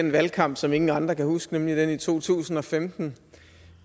den valgkamp som ingen andre kan huske nemlig den i to tusind og femten